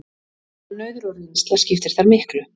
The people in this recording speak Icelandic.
Mannauður og reynsla skiptir þar miklu